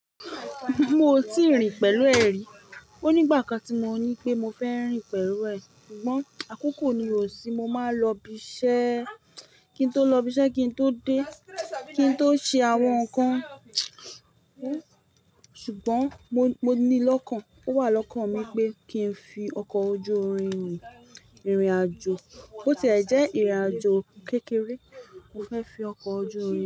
Mo ò tí ì rìn pẹ̀lú ẹ rí. Ó ní ìgbà kan tí mo ní pé mo fẹ́ rìn pẹ̀lú ẹ, ṣùgbọ́n àkókò ni ò sí. Mo máa ń lọ ibi iṣẹ́, kí n tó lọ ibi iṣẹ́, kí n tó dé, kí n tó ṣe àwọn nǹkan wó mtchew. Ṣùgbọ́n mo, mo ní lọ́kàn, ó wà lọ́kàn mi pé kí n fi ọkọ̀ ojú-irin rìn ìrìnàjò. Bó ti è jẹ́ ìrìnàjò kékeré, mo fẹ́ fi ọkọ̀ ojú-irin.